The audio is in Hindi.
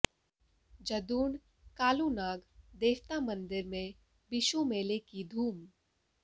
जदूण कालूनाग देवता मंदिर में बिशू मेले की धूम